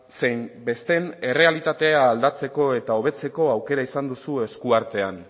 zein besteen errealitatea aldatzeko eta hobetzeko aukera izan duzu esku artean